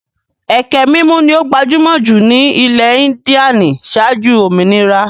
Ẹkẹ mímù ni ó gbajúmọ̀ jù ní ilẹ̀ Índíànì ṣáájú òmìnira.